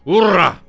Ura!